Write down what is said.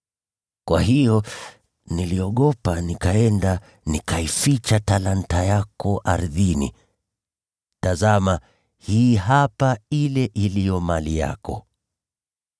Kwa hiyo niliogopa, nikaenda, nikaificha talanta yako ardhini. Tazama, hii hapa ile iliyo mali yako.’